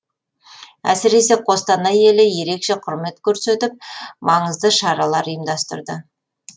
әсіресе қостанай елі ерекше құрмет көрсетіп маңызды шаралар ұйымдастырды